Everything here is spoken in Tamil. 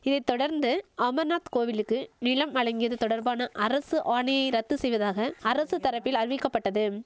இதை தொடர்ந்து அமர்நாத் கோவிலுக்கு நிலம் வழங்கியது தொடர்பான அரசு ஆணையை ரத்து செய்வதாக அரசு தரப்பில் அறிவிக்கபட்டதும்